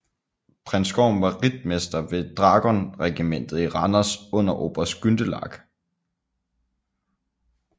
Prins Gorm var Ritmester ved Dragonregimentet i Randers under Oberst Gundelach